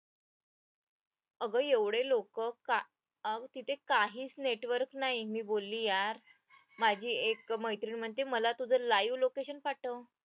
अगं एवढे लोक कुठे काहीच network नाही मी बोलली यार माझी एक मैत्रीण म्हणते मला तुझं live location पाठव